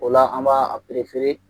O la an b'a a